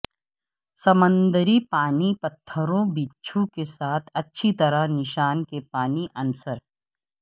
سمندری پانی پتھروں بچھو کے ساتھ اچھی طرح نشان کے پانی عنصر